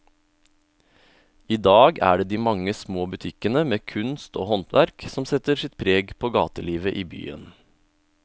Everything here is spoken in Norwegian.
I dag er det de mange små butikkene med kunst og håndverk som setter sitt preg på gatelivet i byen.